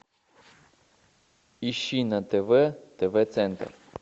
ищи на тв тв центр